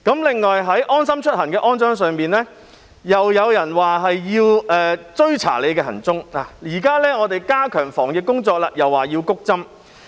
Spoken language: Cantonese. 另外，就安裝"安心出行"一事，又有人說是為要追查大家行蹤，而現在，當政府加強防疫工作，又有人說是為要"谷針"。